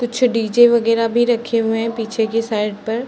कुछ डीजे वगेरा भी रखे हुए हैं पीछे की साइड पर।